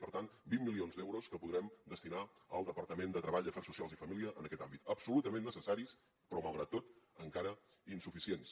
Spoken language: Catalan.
per tant vint milions d’euros que podrem destinar al departament de treball afers socials i famílies en aquest àmbit absolutament necessaris però malgrat tot encara insuficients